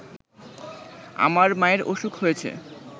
আমার মায়ের অসুখ হয়েছে